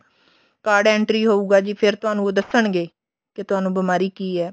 card entry ਹੋਊਗਾ ਜੀ ਫੇਰ ਤੁਹਾਨੂੰ ਉਹ ਦੱਸਣਗੇ ਕੇ ਤੁਹਾਨੂੰ ਬਿਮਾਰੀ ਕੀ ਹੈ